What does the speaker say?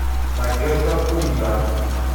надежда пунда